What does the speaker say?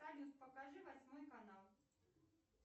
салют покажи восьмой канал